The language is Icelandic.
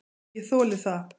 Ég þoli það.